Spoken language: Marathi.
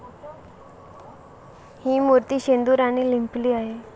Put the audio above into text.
हि मूर्ती शेंदुराने लिंपली आहे.